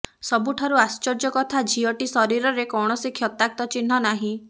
ସବୁଠାରୁ ଆଶ୍ଚର୍ଯ୍ୟ କଥା ଝିଅଟି ଶରୀରରେ କୌଣସି କ୍ଷତାକ୍ତ ଚିହ୍ନ ନାହିଁ